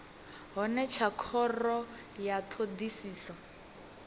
hone tsha khoro ya thodisiso